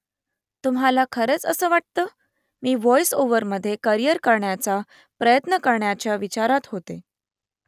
तुम्हाला खरंच असं वाटतं ? मी व्हॉईस ओव्हरमध्ये करियर करण्याचा प्रयत्न करायच्या विचारात होते